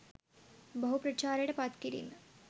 බහු ප්‍රචාරයට පත් කිරීම